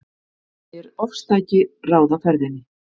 Segir ofstæki ráða ferðinni